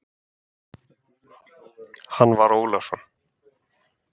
Hann var Ólafsson.